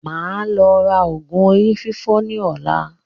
Máa lọ ra oògùn orí fífọ́ ní ọ̀la